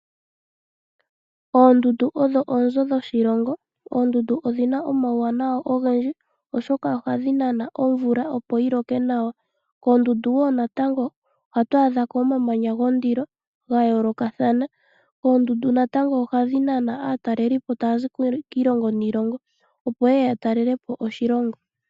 Oondundu odho oonzo dhoshilongo. Oondundu odhina omawuwanawa ogendji oshoka ohadhi nana omvula opo yiloke nawa . Koondundu woo natango ohatu adhako omamanya gondilo ga yoolokathana. Oondundu woo natango ohadhi nana aataleli tayazi kiilongo niilongo opo yeye ya talelepo oshilongo.